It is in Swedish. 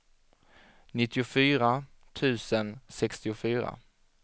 nittiofyra tusen sextiofyra